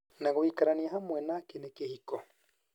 Na gũikarania hamwe nake nĩ kĩhiko".